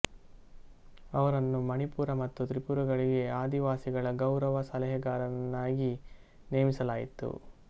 ಅವರನ್ನು ಮಣಿಪುರ ಮತ್ತು ತ್ರಿಪುರಗಳಿಗೆ ಆದಿವಾಸಿಗಳ ಗೌರವ ಸಲಹೆಗಾರನನ್ನಾಗಿ ನೇಮಿಸಲಾಯಿತು